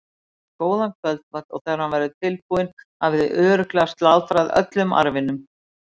Ég elda góðan kvöldmat og þegar hann verður tilbúinn hafið þið örugglega slátrað öllum arfanum.